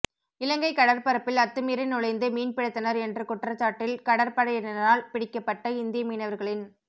இலங்கைக் கடற்பரப்பில் அத்துமீறி நுழைந்து மீன்பிடித்தனர் என்ற குற்றச்சாட்டில் கடற்படையினரால் பிடிக்கப்பட்ட இந்திய மீனவர்களின்